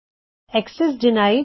access denied